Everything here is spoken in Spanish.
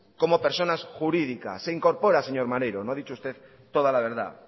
como personas jurídicas se incorpora señor maneiro no ha dicho usted toda la verdad